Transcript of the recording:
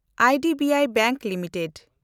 IDBI Bank limited